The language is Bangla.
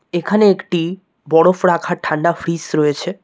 এখানে একটি বরফ রাখার ঠান্ডা ফ্রিজ রয়েছে।